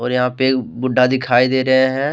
यहां पे बुड्ढा दिखाई दे रहे हैं।